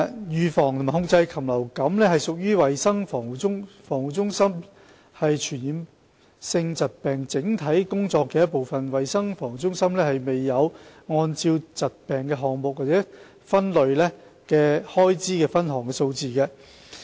預防和控制禽流感屬衞生防護中心防控傳染性疾病整體工作的一部分，衞生防護中心並沒有按疾病或項目劃分的開支分項數字。